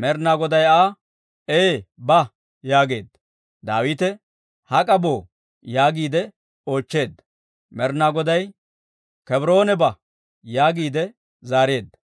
Med'inaa Goday Aa, «Ee; ba» yaageedda. Daawite, «Hak'a boo» yaagiide oochcheedda. Med'inaa Goday, «Kebroone ba» yaagiide zaareedda.